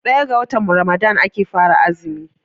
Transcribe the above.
daya ga Ramadan ake fara azumi